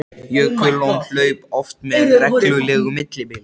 Jökullón hlaupa oft með reglulegu millibili.